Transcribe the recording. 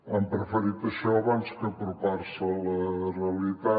han preferit això abans que apropar se a la realitat